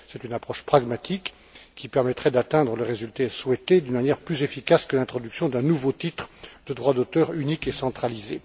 C'est une approche pragmatique, qui permettrait d'atteindre les résultats souhaités d'une manière plus efficace que l'introduction d'un nouveau titre de droit d'auteur unique et centralisé.